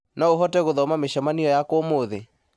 no ũhote gũthoma mĩcemanio yakwa ũmũthĩ